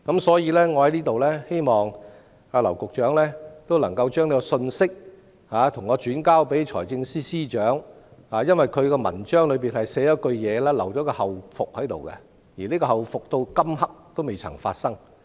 所以，在這裏我希望劉局長將這個信息轉給財政司司長，因為他的公布裏有這樣一句，留有後續，但這個後續到這一刻仍未發生。